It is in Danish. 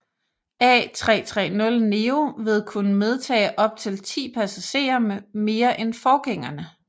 A330neo vil kunne medtage op til 10 passagerer mere end forgængerne